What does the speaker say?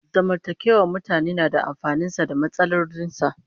Zamantakewar jama'a na da amfanin sa da matsalolin sa